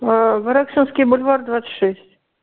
воронцовский бульвар двадцать шесть